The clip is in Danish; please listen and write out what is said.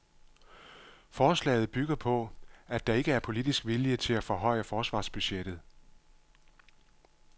Forslaget bygger på, at der ikke er politisk vilje til at forhøje forsvarsbudgettet.